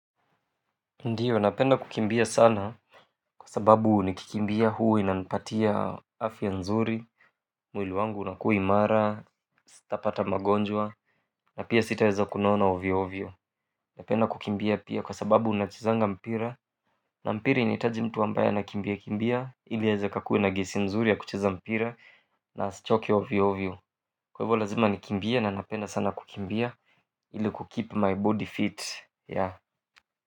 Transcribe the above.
Ndiyo napenda kukimbia sana kwa sababu nikikimbia huwa inanipatia afya nzuri mwili wangu unakuwa imara. Sitapata magonjwa na pia sitaweza kunona ovyo ovyo napenda kukimbia pia kwa sababu nachezanga mpira na mpira inahitaji mtu ambaye anakimbia kimbia ili aeza kakuwe na gasi mzuri ya kucheza mpira na asichoke ovyo ovyo kwa hivo lazima nikimbie na napenda sana kukimbia ili ku keep my body fit.